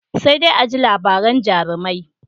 Sai dai a ji labaran jarumai.